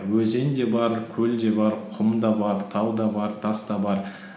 өзен де бар көл де бар құм да бар тау да бар тас та бар